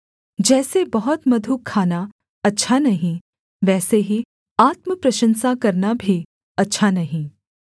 जैसे बहुत मधु खाना अच्छा नहीं वैसे ही आत्मप्रशंसा करना भी अच्छा नहीं